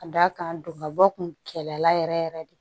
Ka d'a kan duguma bɔ kun kɛlɛ la yɛrɛ yɛrɛ de